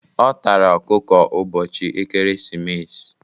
Ọ tara ọkụkọ ụbọchị ekeresimesi.